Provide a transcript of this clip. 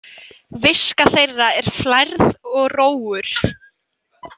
Viska þeirra er flærð og rógur.